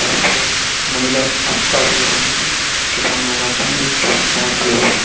यहां पर एक महिला काम कार्य कर रही है। किसान लोग आते हैं। एक किसान बाहर खड़े हुए है।